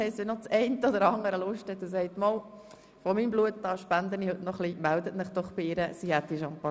Wenn das eine oder andere Grossratsmitglied Lust hat, Blut zu spenden, melden Sie sich doch bei Grossrätin Herren.